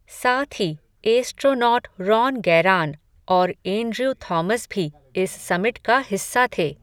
साथ ही astronaut Ron Garan, और एंड्र्यू थॉमस भी, इस समिट का हिस्सा थे.